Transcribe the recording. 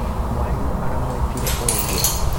Mwarimũ aramwĩtire ũngĩ.